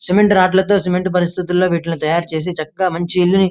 cement rod తో cement పరిస్థితుల్లో వీటిని తయారు చేసి చక్కగా మంచి ఇల్లు ని --